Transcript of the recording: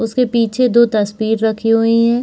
उसके पीछे दो तस्वीर रखी हुई हैं।